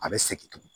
A bɛ segin tugun